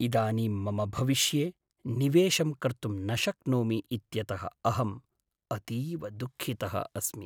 इदानीं मम भविष्ये निवेशं कर्तुं न शक्नोमि इत्यतः अहम् अतीव दुःखितः अस्मि।